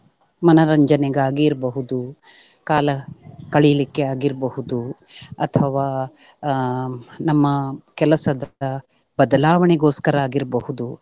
ಮನೋರಂಜನೆಗಾಗಿ ಇರ್ಬಹುದು ಕಾಲ ಕಳಿಲಿಕ್ಕೆ ಆಗಿರ್ಬಹುದು ಅಥವಾ ಹ್ಮ್ ನಮ್ಮ ಕೆಲಸದ ಬದಲಾವಣೆಗೋಸ್ಕರ ಆಗಿರ್ಬಹುದು.